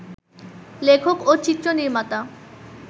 লেখক ও চিত্রনির্মাতা